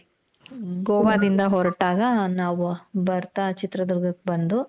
ಗೋವಾ ದಿಂದ ಹೊರಟಾಗ ನಾವು ಬರ್ತಾ ಚಿತ್ರ ದುರ್ಗಕ್ಕೆ ಬಂದು.